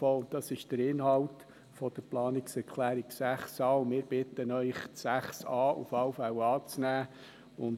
Das ist der Inhalt der Planungserklärung 6a, und wir bitten Sie, diese zu unterstützen.